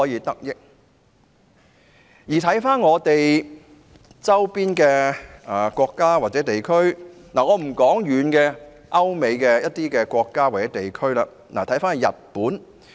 我不談距離香港較遠的歐美國家或地區，且看我們鄰近的國家或地區，例如日本。